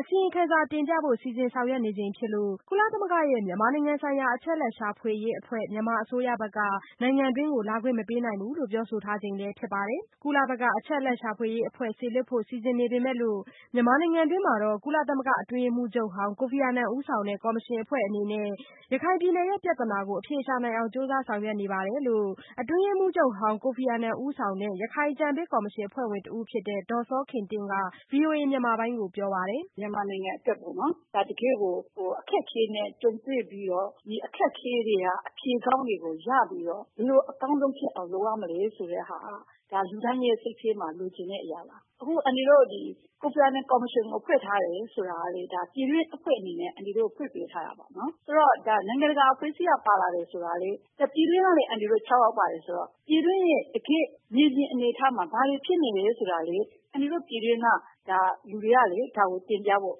အစီရင်ခံစာတင်ပြဖို့ စီစဉ်ဆောင်ရွက်နေချိန်ဖြစ်လို့ ကုလသမဂ္ဂရဲ့ မြန်မာဆိုင်ရာ အချက်အလက်ရှာဖွေရေးအဖွဲ့ မြန်မာအစိုးရက နိုင်ငံတွင်း လာခွင့်မပေးနိုင်ဘူး လို့ပြောဆိုထားချိန်ဖြစ်ပါတယ်။ ကုလဘက်က အချက်အလက်ရှာဖွေရေးအဖွဲ့စေလွှတ်ဖို့ စီစဉ်နေပေမဲ့လို့ မြန်မာနိုင်ငံတွင်းမှာ ကုလသမဂ္ဂအတွင်းရေးမှူးချုပ်ဟောင်း ကိုဖီအာနန်ဦးဆောင်တဲ့ ကော်မရှင်အဖွဲ့အနေနဲ့ ရခိုင်ပြည်နယ်ပြသနာကို အဖြေရှာနိုင်အောင် ကြိုးစားဆောင်ရွက်နေတယ်လို့ အတွင်းရေးမှူးဟောင်း ကိုဖီအာနန်ဦးဆောင်တဲ့ ရခိုင်အကြံပေးကော်မရှင်အဖွဲ့ဝင်တဦးဖြစ်တဲ့ ဒေါ်စောခင်တင့်က ဗွီအိုအေမြန်မာပိုင်းကို အခုလိုပြောပါတယ်။ “မြန်မာနိုင်ငံအတွက် တကယ့်ကို အခက်အခဲနဲ့ ကြုံတွေ့ပြီးတော့ ဒီအခက်အခဲထဲက အဖြေကောင်းတွေကိုရပြီးတော့ ဘယ်လိုအကောင်းဆုံးဖြစ်အောင်လုပ်ရမယ် ဆိုတာက လူတိုင်းစိတ်ထဲမှာ လိုချင်တဲ့အရာပါ။ အခုအန်တီတို့ ကိုဖီအာနန် ကော်မရှင်ကိုဖွဲ့ထားတယ်ဆိုတာကလည်း ပြည်တွင်းအဖွဲ့အနေနဲ့ အန်တီတို့ကို ဖွဲ့ပေးထားတာပါ။ ဒါက နိုင်ငံတကာအဖွဲ့အစည်းကလည်း ပါလာတာဆိုတာကလည်း ပြည်တွင်းကနေ အန်တီတို့ ၆ ယောက်ပါတယ်ဆိုတော့ ပြည်တွင်းရဲ့ တကယ့်မြေပြင်အနေအထားမှာ ဘာတွေဖြစ်နေတယ်ဆိုတာလည်း အန်တီတို့ ပြည်တွင်းကလူတွေကလည်း ဒါကိုတင်ပြဖို့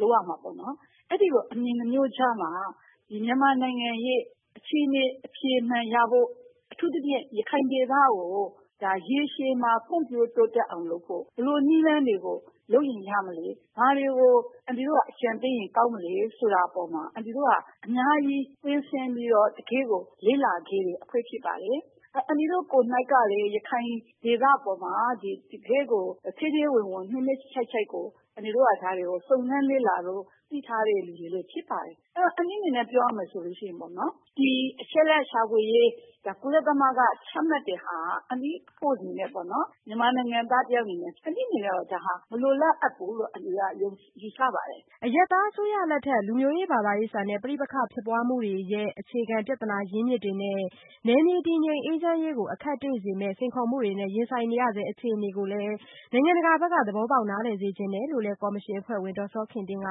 လုပ်ရမှာပေါ့နော်။ အဲဒီလိုအမြင် ၂ မျိုးကြားမှာ မြန်မာနိုင်ငံရဲ့ အခြေအနေ အဖြေမှန်ရဖို့ အထူးသဖြင့် ရခိုင်ဒေသကို ရေရှည်မှာ ဖွံ့ဖြိုးတိုးတက်အောင်လုပ်ဖို့ ဘယ်လိုနည်းလမ်းတွေကို လုပ်ရင်ရမလဲ ၊ ဘာတွေကို အန်တီတို့က အကြံပေးရင်ကောင်းမလဲ ဆိုတာအပေါ်မှာ အန်တီတို့က အများကြီး ကွင်းဆင်းပြီးတော့ တကယ့်ကို လေ့လာခဲ့တဲ့ အဖွဲ့ဖြစ်တယ် ။ အန်တီတို့ ကိုယ်တိုင်ကလည်း ရခိုင်ဒေသအပေါ်မှာ တကယ့်ကို ထဲထဲဝင်ဝင်နှစ်နှစ်ခြိုက်ခြိုက် အန်တီတို့က ဒါ စုံစမ်းလေ့လာသိထားတဲ့ သူတွေလည်းဖြစ်တယ်။ အန်တီအနေနဲ့ ပြောရမယ်ဆိုရင် ဒီအချက်အလက်ရှာဖွေရေး ကုလက ချမှတ်တဲ့ဟာက မြန်မာနိုင်ငံသားတယောက်အနေနဲ့ အန်တီအနေနဲ့ မလိုလားအပ်ဘူးလို့ ယူဆပါတယ်။” အရပ်သားအစိုးရလက်ထက် လူမျိုးရေးဘာသာရေးဆန်တဲ့ ပဋိပက္ခတွေဖြစ်ပွားမှုတွေနဲ့ အခြေခံပြသနာရင်းမြစ်တွေနဲ့ နယ်မြေတည်ငြိမ်အေးချမ်းရေးကို အခက်တွေ့စေတဲ့ စိန်ခေါ်မှုတွေနဲ့ရင်ဆိုင်နေရဆဲ အခြေအနေကိုလည်း နိုင်ငံတကာဘက်က သဘောပေါက်နားလည်စေချင်တယ်လို့လည်း ကော်မရှင်အဖွဲ့ဝင် ဒေါ်စောခင်တင့်က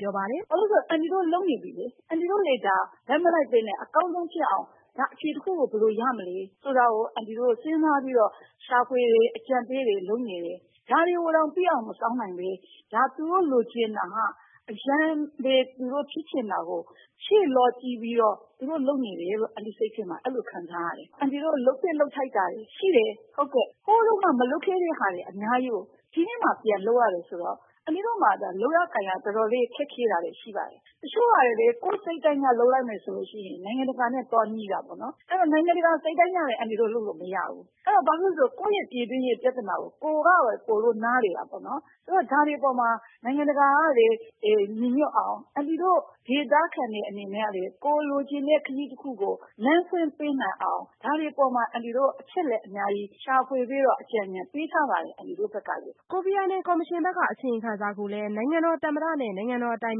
ပြောပါတယ်။ “ဘာဖြစ်လို့လဲဆိုတော့ အန်တီတို့ လုပ်နေပြီလေ။ အန်တီတို့တွေ ဘက်မလိုက်ပဲနဲ့ အကောင်းဆုံးဖြစ်အောင် ဒါအဖြေတခုကို ဘယ်လိုရမလဲဆိုတာကို အန်တီတို့ စဉ်းစားပြီးတော့ ရှာဖွေတယ်၊ အကြံပြုတယ် လုပ်နေတယ်။ ဒါတွေကို ပြီးအောင်မစောင့်နိုင်ပဲ သူတို့လိုချင်တာ ဖြစ်ချင်တာကို အလောကြီးပြီးတော့ သူတို့လုပ်နေတယ်လို့ အဲလိုခံစားရတယ်။ အန်တီတို့ လုပ်သင့်လုပ်ထိုက်တာတွေရှိတယ် ဟိုတုန်းကမလုပ်ခဲ့တာတွေကို ဒီကနေ့မှ ပြန်လုပ်ရတယ်ဆိုတော့ အန်တီတို့မှာ လုပ်ရကိုင်ရတာတွေ ခက်ခဲတာတွေရှိပါတယ်။ တချို့က ကိုယ့်စိတ်တိုင်းကျ လုပ်လိုက်မယ်ဆိုရင် နိုင်ငံတကာနဲ့ သွားငြိတာပေါ့နော် ။ ဆိုတော့ နိုင်ငံတကာ စိတ်တိုင်းကျလည်း အန်တီတို့ လုပ်လို့မရဘူး။ ဘာဖြစ်လို့လဲဆိုတော့ ကိုယ့်ပြည်တွင်းရေးပြဿနာကို ကိုယ်ပဲနားလည်တာပေါ့နော် ဆိုတော့ ဒါတွေကို နိုင်ငံတကာလည်း ညီညွတ်အောင် အန်တီတို့ ဒေသခံတွေအနေနဲ့လည်း ကိုယ်လိုချင်တဲ့ ခရီးတခုကို လမ်းဖွင့်ပေးနိုင်အောင် ဒါတွေအပေါ်မှာ အန်တီတို့ အချက်အလက်အများကြီးရှာပြီးတော့ အကြံပေးထားပါတယ်။” ကိုဖီအာနန် ကော်မရှင်ဘက်က အစီရင်ခံစာကိုလည်း နိုင်ငံတော်သမ္မတနဲ့ နိုင်ငံတော် အတိုင်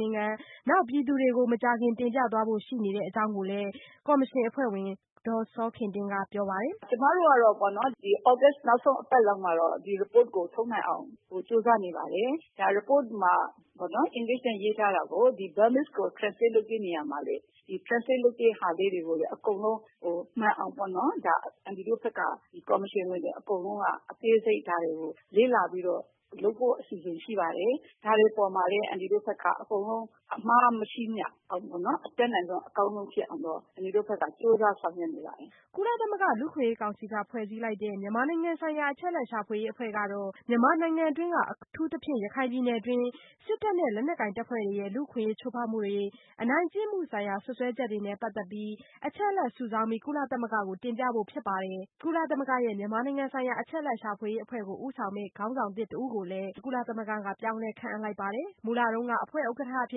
ပင်ခံပုဂ္ဂိုလ် တို့နဲ့ ပြည်သူတွေကို မကြာခင်တင်ပြသွားဖို့ရှိနေတဲ့အကြောင်းလည်း ကိုဖီအာနန်ကော်မရှင်အဖွဲ့ဝင်ဒေါ်စောခင်တင့်ကပြောပါတယ်။ “ကျမတို့က ဒီသြဂုတ်လ နောက်ဆုံးအပတ်မှာတော့ ဒီ Report ကိုထုတ်နိုင်အောင် ကြိုးစားနေပါတယ်။ ဒီ Report မှာ English နဲ့ရေးထားတာကို Burmese translate လုပ်တဲ့နေရာမှာလည်း translate လုပ်တာတွေ အားလုံးမှန်အောင်ပေါ့နော် အန်တီတို့ဘက်က ကော်မရှင်ဝင်တွေ အကုန်လုံး ဒါကိုအသေးစိတ်လေ့လာပြီးတော့ လုပ်ဖို့အစီအစဉ်ရှိပါတယ်။ ဒါတွေအပေါ်မှာလည်း အန်တီတို့ဘက်က အမှားမရှိအောင် အတတ်နိုင်ဆုံး အကောင်းဆုံးဖြစ်အောင်တော့ အန်တီတို့ ကြိုးစားဆောင်ရွက်နေပါတယ်။” ကုလသမဂ္ဂ လူ့အခွင့်အရေး ကောင်စီက ဖွဲ့စည်းလိုက်တဲ့ မြန်မာဆိုင်ရာ အချက်အလက်ရှာဖွေရေး အဖွဲ့ကတော့ မြန်မာနိုင်ငံတွင်းက အထူးသဖြင့် ရခိုင်ဒေသတွင်း စစ်တပ်နဲ့ လက်နက်ကိုင် တပ်ဖွဲ့တွေရဲ့ လူ့အခွင့်အရေး ချိုးဖောက်မှုတွေ၊ အနိုင်ကျင့်မှု ဆိုင်ရာ စွပ်စွဲချက်တွေနဲ့ ပတ်သက်ပြီး အချက်အလက် စုဆောင်းပြီး ကုလသမဂ္ဂကို တင်ပြဖို့ ဖြစ်ပါတယ်။ ကုလသမဂ္ဂရဲ့ မြန်မာဆိုင်ရာ အချက်အလက်ရှာဖွေရေးအဖွဲ့ ကိုခေါင်းဆောင်မယ့် ခေါင်းဆောင်သစ်တဦးကို ကုလသမဂ္ဂက ပြောင်းလဲ ခန့်အပ်လိုက်ပါတယ်။ မူလက အဖွဲ့ ဥက္ကဌ အဖြ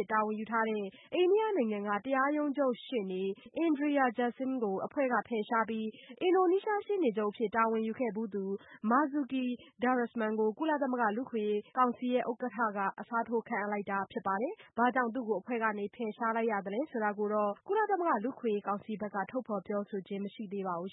စ် တာဝန်ယူထားတဲ့ အိန္ဒိယနိုင်ငံက တရားရုံးချုပ်ရှေ့နေ Indira Jaising ကို အဖွဲ့က ဖယ်ရှားပြီး အင်ဒိုနီးရှား ရှေ့နေချုပ် အဖြစ် တာဝန်ယူခဲ့သူ Marzuki Darusman ကို ကုလသမဂ္ဂ လူ့အခွင့်အရေး ကောင်စီ ဥက္ကဌက အစားထိုး ခန့်အပ်တာ ဖြစ်ပါတယ်။ အိန္ဒိယနိုင်ငံက တရားရုံးချုပ်ရှေ့နေ Indira Jaising ကို ဘာကြောင့် အဖွဲ့ကနေ ဖယ်ရှားလိုက်ရသလဲ ဆိုတာကိုတော့ ကုလသမဂ္ဂ လူ့အခွင့်အရေး ကောင်စီဘက်က ပြောဆိုခြင်း မရှိပါဘူး